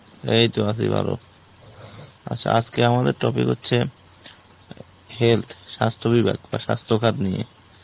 এই তো আছি ভালো. আচ্ছা আজকে আমাদের topic হচ্ছে Health, স্বাস্থ্য বিভাগ বা স্বাস্থ্য খাত নিয়ে.